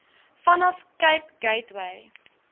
vanaf cape gateway